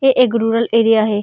ये एक rural area है।